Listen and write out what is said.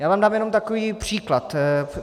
Já vám dám jenom takový příklad.